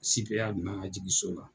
jigi so kan.